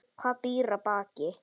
Hvað býr að baki?